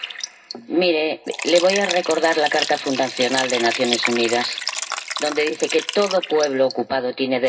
Le voy a recordar la Carta Fundacional de las Naciones Unidas, donde dice que todo pueblo ocupado tiene derecho a defenderse.